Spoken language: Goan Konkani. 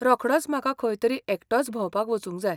रोखडोच म्हाका खंय तरी एकटोच भोंवपाक वचूंक जाय .